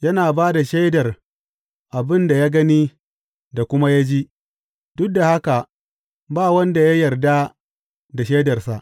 Yana ba da shaidar abin da ya gani da kuma ya ji, duk da haka ba wanda ya yarda da shaidarsa.